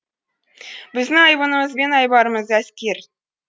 біздің айбынымыз бен айбарымыз әскер